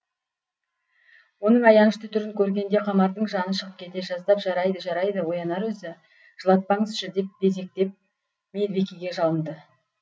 оның аянышты түрін көргенде қамардың жаны шығып кете жаздап жарайды жарайды оянар өзі жылатпаңызшы деп безектеп медбикеге жалынды